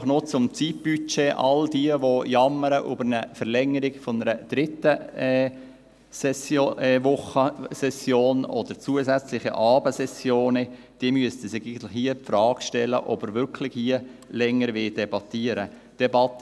Einfach noch zum Zeitbudget: All jene, die über eine Verlängerung um eine dritte Sessionswoche oder um zusätzliche Abendsessionen jammern, müssten sich hier die Frage stellen, ob wir hier wirklich länger diskutieren wollen.